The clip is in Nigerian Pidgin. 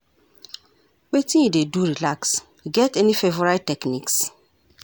Wetin you dey do relax, you get any favorite techniques?